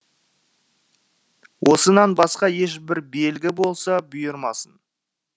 осынан басқа ешбір белгі болса бұйырмасын